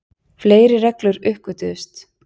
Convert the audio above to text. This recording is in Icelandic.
Fleiri reglur uppgötvuðust.